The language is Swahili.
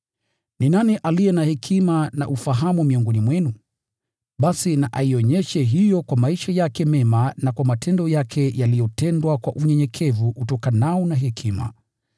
Ni nani aliye na hekima na ufahamu miongoni mwenu? Basi na aionyeshe hiyo kwa maisha yake mema na kwa matendo yake yaliyotendwa kwa unyenyekevu utokanao na hekima.